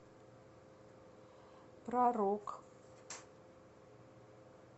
про рок